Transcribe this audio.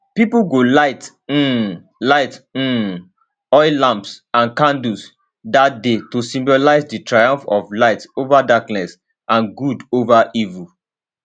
pipo go light um light um oil lamps and candles dat day to symbolise di triumph of light ova darkness and good ova evil